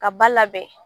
Ka ba labɛn